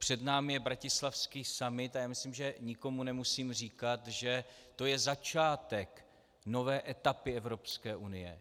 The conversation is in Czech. Před námi je bratislavský summit a já myslím, že nikomu nemusím říkat, že to je začátek nové etapy Evropské unie.